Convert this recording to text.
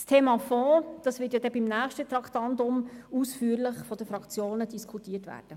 Das Thema Fonds werden die Fraktionen beim nächsten Traktandum ausführlich diskutieren.